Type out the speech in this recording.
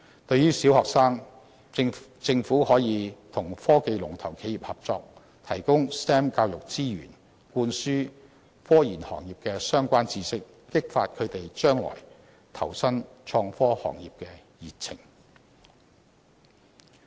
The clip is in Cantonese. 對於中學生，政府可與科技龍頭企業合作，提供 STEM 教育資源，灌輸科研行業的相關知識，激發他們將來投身創科行業的熱情。